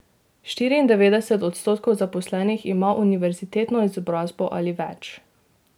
Štiriindevetdeset odstotkov zaposlenih ima univerzitetno izobrazbo ali več.